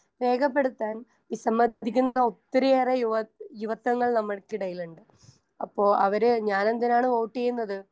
Speaker 1 രേഖപ്പെടുത്താൻ വിസമ്മതിക്കുന്ന ഒത്തിരിയേറെ യുവാ യുവത്വങ്ങൾ നമ്മൾക്കിടയിലുണ്ട്. അപ്പൊ അവര് ഞാനെന്തിനാണ് വോട്ട് ചെയ്യുന്നത്